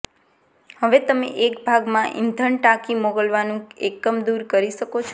હવે તમે એક ભાગમાં ઈંધણ ટાંકી મોકલવાનું એકમ દૂર કરી શકો છો